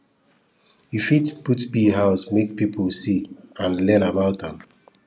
you fit put bee house make people see and learn about am